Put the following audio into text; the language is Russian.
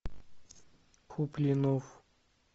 куплинов